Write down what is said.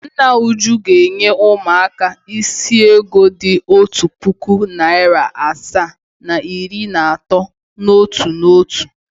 Nna Uju ga-enye ụmụaka ise ego dị otu puku, narị asaa na iri na atọ n’otu n’otu.